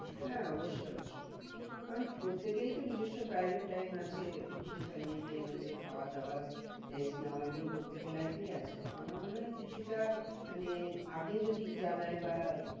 হ্যাঁ অবশ্যই অবশ্যই কারণ প্রত্যেকেরই তো নিজেস্য private time আছে, কিছু family time আছে। খাওয়া দাওয়া rest নেওয়া এগুলো প্রত্যেকের life এই আছে। তা আমার মনে হয় কিছুটা মানে আগে যদি জানায় বা